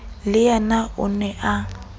le yena o ne a